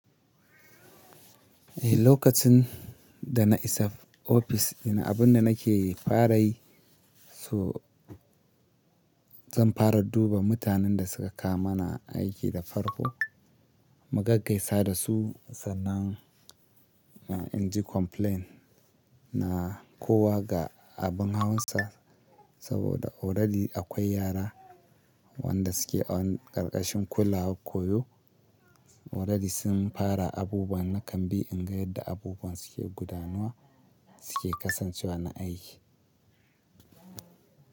Eh, lokacin da na isa ofis, ina abun da nake fara yi, to zan fara duba mutanen da suka kama na aiki da farko, mu gaggaisa da su sannan in ji complain na kowa ga abin hawansa. Saboda already akwai yara wanda suke a karkashin kular koyo. Already sun fara abubuwa na kan bi in ga yadda abubuwan suke gudanuwa, suke kasancewa na aiki.